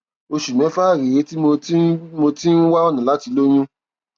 oṣù mẹfà rèé tí mo ti ń mo ti ń wá ọnà láti lóyún